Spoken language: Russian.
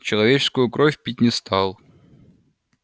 человеческую кровь пить не стал